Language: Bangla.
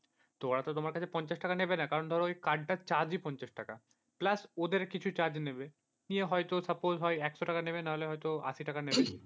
তো ওরা তো তোমার কাছে পঞ্চাশ টাকা নেবে না, কারণ ধরো card টার চার্জই পঞ্চাশ টাকা। plus ওদের কিছু charge নিয়ে হয়তো suppose হয় একশো টাকা নেবে, না হলে হয়তো আশি টাকা নেবে।